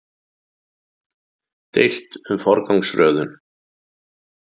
Deilt um forgangsröðun